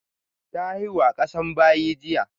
Ta haihu a ƙasan bayi jiya.